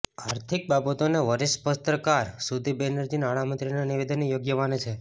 આર્થિક બાબતોના વરિષ્ઠ પત્રકાર સુદીપ બેનર્જી નાણા મંત્રીના નિવેદનને યોગ્ય માને છે